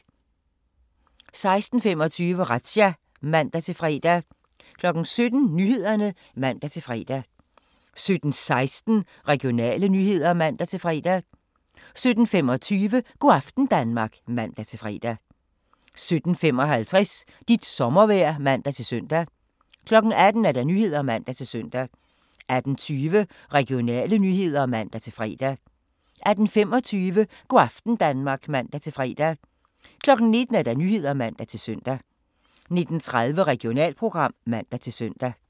16:25: Razzia (man-fre) 17:00: Nyhederne (man-fre) 17:16: Regionale nyheder (man-fre) 17:25: Go' aften Danmark (man-fre) 17:55: Dit sommervejr (man-søn) 18:00: Nyhederne (man-søn) 18:20: Regionale nyheder (man-fre) 18:25: Go' aften Danmark (man-fre) 19:00: Nyhederne (man-søn) 19:30: Regionalprogram (man-søn)